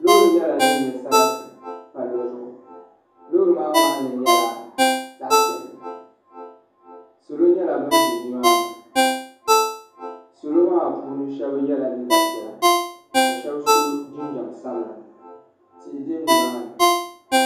Loori nyɛla dini nyɛ sarati palli zuɣu loori maa ŋmahinli nyɛla zaɣi piɛlli salo nyɛla bani zi nimaa ni salo maa puuni shɛba yɛla liiga piɛlla ka shɛba so jinjam sabila tihi bɛ ni maa ni.